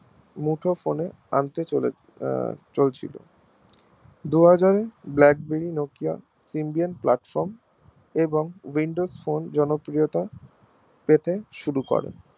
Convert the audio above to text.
মুঠো Phone এ আনতে চলে আহ চলেছিল দু হাজার ব্ল্যাকবেরি নোকিয়া ইন্ডিয়ান platform এবং windows phone জনপ্রিয়তা পেতে শুরু করে